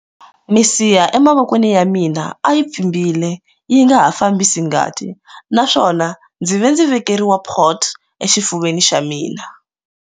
Misiha emavokweni ya mina a yi pfimbile yi nga ha fambisi ngati naswona ndzi ve ndzi vekeriwa port exifuveni xa mina.